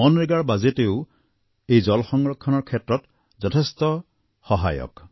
মনৰেগাৰ বাজেটেও এই জল সংৰক্ষণৰ ক্ষেত্ৰত যথেষ্ট সহায়ক